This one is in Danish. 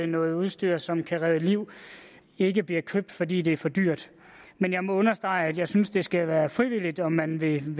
noget udstyr som kan redde liv ikke bliver købt fordi det er for dyrt men jeg må understrege at jeg synes at det skal være frivilligt om man vil